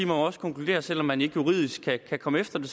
jo også konkludere at selv om man ikke juridisk kan kan komme efter det